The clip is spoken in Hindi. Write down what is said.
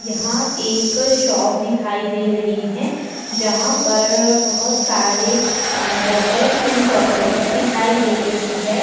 यहां एक शॉप दिखाई दे रही है। जहां पर बोहोत सारे बॉटल्स में चॉकलेट्स दिखाई दे रही हैं।